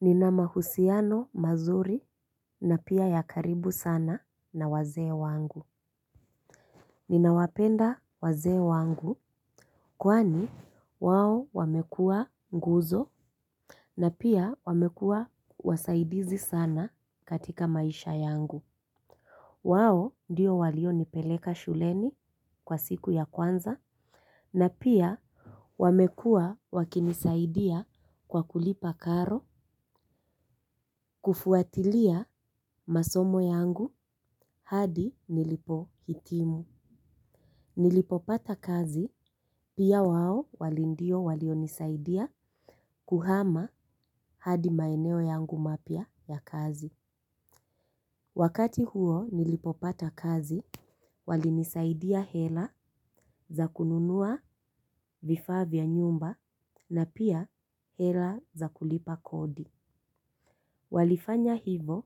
Ninama husiano mazuri na pia ya karibu sana na waze wangu. Ninawapenda waze wangu. Kwani wao wamekua nguzo na pia wamekua wasaidizi sana katika maisha yangu. Wao diyo walio nipeleka shuleni kwa siku ya kwanza na pia wamekua wakinisaidia kwa kulipa karo. Kufuatilia masomo yangu hadi nilipo hitimu nilipopata kazi pia wao wali ndio walionisaidia kuhama hadi maeneo yangu mapia ya kazi. Wakati huo nilipopata kazi wali nisaidia hela za kununua vifavya nyumba na pia hela za kulipa kodi. Walifanya hivo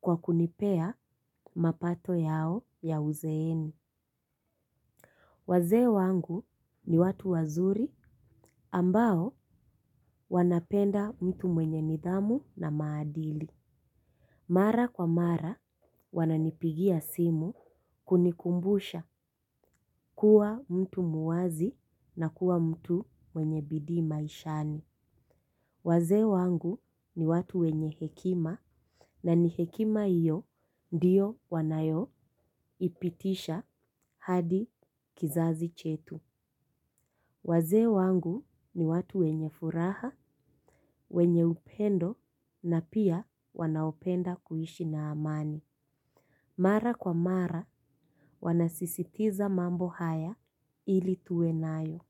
kwa kunipea mapato yao ya uzeeni. Waze wangu ni watu wazuri ambao wanapenda mtu mwenye nidhamu na maadili. Mara kwa mara wananipigia simu kunikumbusha kuwa mtu muwazi na kuwa mtu mwenye bidima ishani. Waze wangu ni watu wenye hekima na ni hekima iyo ndiyo wanayo ipitisha hadi kizazi chetu. Waze wangu ni watu wenye furaha, wenye upendo na pia wanaopenda kuhishi na amani. Mara kwa mara, wanasisitiza mambo haya ili tuwe nayo.